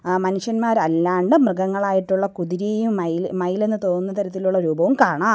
ആ മനുഷ്യന്മാർ അല്ലാണ്ട് മൃഗങ്ങളായിട്ടുള്ള കുതിരയും മയില് മയിലെന്നു തോന്നുന്ന തരത്തിലുള്ള രൂപങ്ങളും കാണാം.